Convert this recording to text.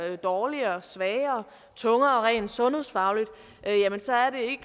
dårligere og sværere tungere rent sundhedsfagligt